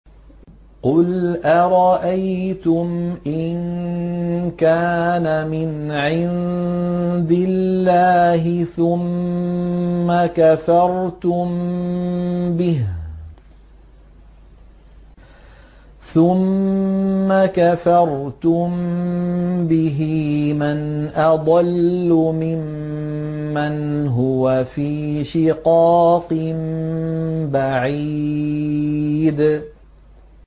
قُلْ أَرَأَيْتُمْ إِن كَانَ مِنْ عِندِ اللَّهِ ثُمَّ كَفَرْتُم بِهِ مَنْ أَضَلُّ مِمَّنْ هُوَ فِي شِقَاقٍ بَعِيدٍ